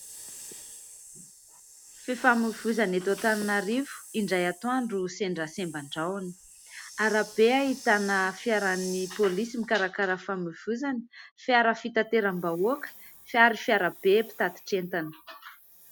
Fifamoivozana eto Antananarivo indray atoandro sendra semban-drahona. Arabe ahitana fiaran'ny polisy mikarakara fifamoivozana, fiara fitateram-bahoaka ary fiara be mpitatitr'entana.